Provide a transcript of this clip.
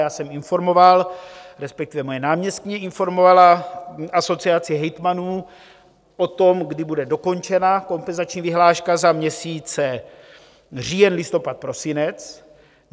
Já jsem informoval, respektive moje náměstkyně informovala Asociaci hejtmanů o tom, kdy bude dokončena kompenzační vyhláška za měsíce říjen, listopad, prosinec.